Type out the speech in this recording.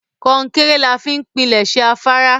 Kọ́ńkẹ́rẹ́ làá fi n pínlesé àfàrà.